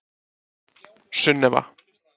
Sunneva